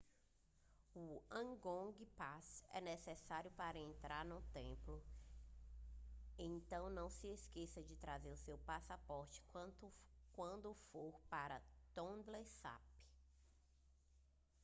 o angkor pass é necessário para entrar no templo então não se esqueça de trazer seu passaporte quando for para tonle sap